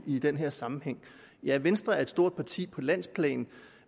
i den her sammenhæng ja venstre er et stort parti på landsplan